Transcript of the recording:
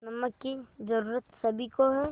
नमक की ज़रूरत सभी को है